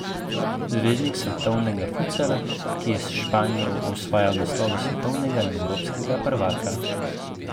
Zvezdnik svetovnega futsala, ki je s Španijo osvajal naslove svetovnega in evropskega prvaka.